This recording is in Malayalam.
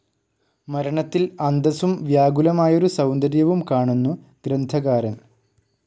മരണത്തിൽ അന്തസ്സും വ്യാകുലമായൊരു സൗന്ദര്യവും കാണുന്നു ഗ്രന്ഥകാരൻ.